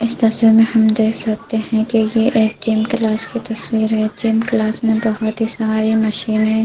इस तस्वीर में हम देख सकते हैं की ये एक जिम क्लास की तस्वीर हैजिम क्लास में बहोत ही सारी मशीन है।